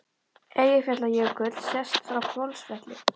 Eyjafjallajökull sést frá Hvolsvelli.